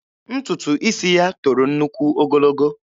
Ntutu isi ya toro nnukwu ogologo.